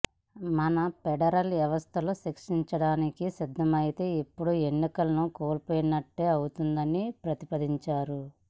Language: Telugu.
మన ఫెడరల్ వ్యవస్థలో శిక్షించడానికి సిద్ధమైతే ఇప్పటి ఎన్నికలను కోల్పోయినట్టే అవుతుందని ప్రతిపాదించారు